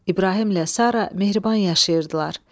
İbrahimlə Sara mehriban yaşayırdılar.